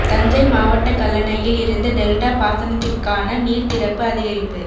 தஞ்சை மாவட்ட கல்லணையில் இருந்து டெல்டா பாசனத்திற்கான நீர் திறப்பு அதிகரிப்பு